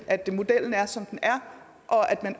at modellen er som den er og at man